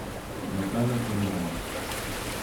наталья чернова